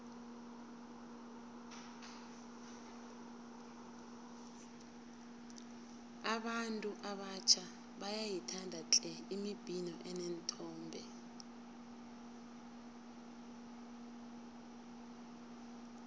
abantu abatjha bayayithanda tle imibhino eneenthombe